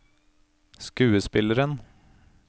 skuespilleren